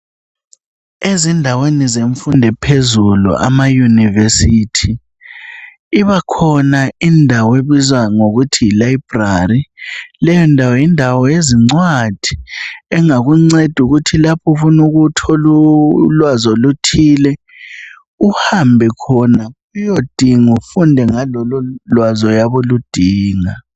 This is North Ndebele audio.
Ezindaweni zemfundo ephuzulu ama Yunivesithi ibakhona indawo ebizwa ngokuthi yi layibhurali leyo ndawo yindawo yezincwadi engakungceda ukuthi lapho ufuna ukuthola ulwazi oluthile uhambe khona uyedinga ufunde ngalolo lwazi oyabe uludinga.